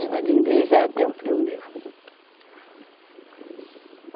Esse padrinho dele já era até um primo meu.